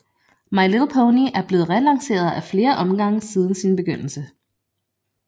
My Little Pony er blevet relanceret af flere omgange siden sin begyndelse